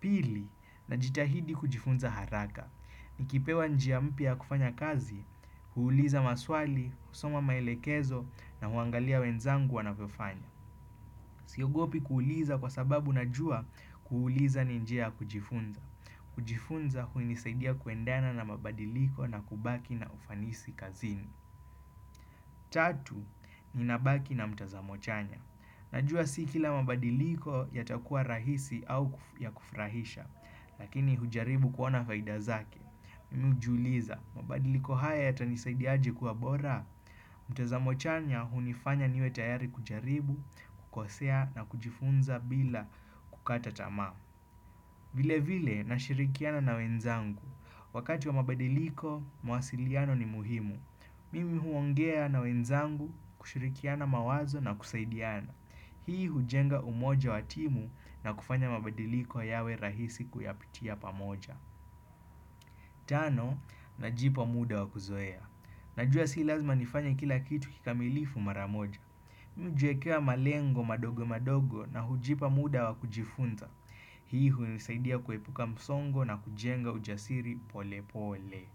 Pili, na jitahidi kujifunza haraka. Nikipewa njiamp ya kufanya kazi, huuliza maswali, husoma maelekezo na huangalia wenzangu wanavyofanya. Siogopi kuuliza kwa sababu na jua, kuuliza ni njia ya kujifunza. Kujifunza hunisaidia kuendana na mabadiliko na kubaki na ufanisi kazini Tatu ni nabaki na mtazamochanya Najua si kila mabadiliko ya takua rahisi au ya kufrahisha Lakini hujaribu kuona faida zake Mimi hujiuliza mabadiliko haya ya tanisaidiaje kuwa bora mtazamo chanya hunifanya niwe tayari kujaribu, kukosea na kujifunza bila kukata tama vile vile na shirikiana na wenzangu Wakati wa mabadiliko, mawasiliano ni muhimu. Mimi huongea na wenzangu kushirikiana mawazo na kusaidiana. Hii hujenga umoja watimu na kufanya mabadiliko yawe rahisi kuyapitia pamoja. Tano, najipa muda wakuzoea. Najua si lazima nifanya kila kitu kikamilifu maramoja. Mimi ujiwekea malengo madogo madogo na hujipa muda wakujifunza. Hii hunisaidia kuepuka msongo na kujenga ujasiri pole pole.